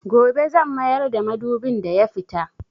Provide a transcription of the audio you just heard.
Gobe zan mayar da madubin da ya fita.